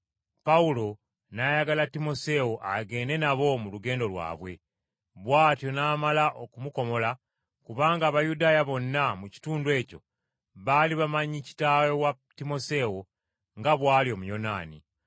Pawulo n’ayagala Timoseewo agende nabo mu lugendo lwabwe. Bw’atyo n’amala okumukomola, kubanga Abayudaaya bonna mu kitundu ekyo baali bamanyi kitaawe wa Timoseewo nga bw’ali Omuyonaani.